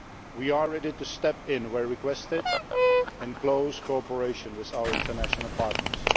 We are ready to step in where requested to do so, in close cooperation with our international partners.